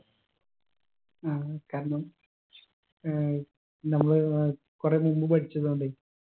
ആ കാരണം ഏർ നമ്മൾ ഏർ കുറെ മുമ്പ് പഠിച്ചതൊണ്ടേ